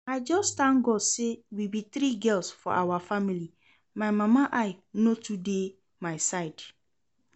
I just thank God say we be three girls for our family, my mama eye no too dey my side